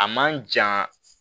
A man ja